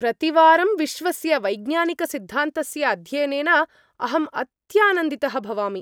प्रतिवारं विश्वस्य वैज्ञानिकसिद्धान्तस्य अध्ययनेन अहम् अत्यानन्दितः भवामि।